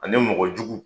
Ani mɔgɔ jugu